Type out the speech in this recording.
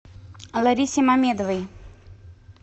ларисе мамедовой